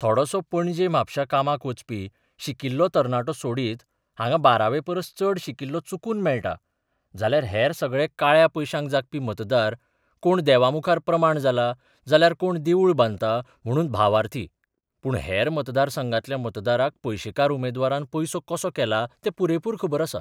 थोडोसो पणजे म्हापश्यां कामाक वचपी शिकिल्लो तरणाटो सोडीत हांगां बारावेपरस चड शिकिल्लो चुकून मेळटा जाल्यार हेर सगळे काळ्या पयशांक जागपी मतदार कोण देवामुखार प्रमाण जाला जाल्यार कोण देवूळ बांदता म्हणून भावार्थी पूण हेर मतदारसंघांतल्या मतदाराक पयशेकार उमेदवारान पयसो कसो केला तें पुरेपूर खबर आसा.